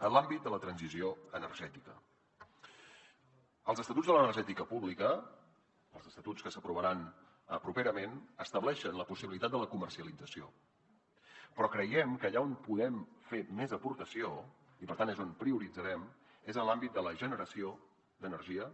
en l’àmbit de la transició energètica els estatuts de l’energètica pública els estatuts que s’aprovaran properament estableixen la possibilitat de la comercialització però creiem que allà on podem fer més aportació i per tant és on prioritzarem és en l’àmbit de la generació d’energia